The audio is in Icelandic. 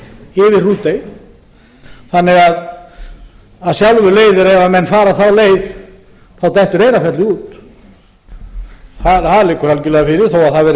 yfir mjóafjörð yfir þannig að af sjálfu leiðir að ef menn fara þá leið þá dettur eyrarfjallið út það liggur algjörlega fyrir þó að það